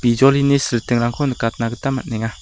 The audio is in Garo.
bijolini silitingrangko nikatna gita man·enga.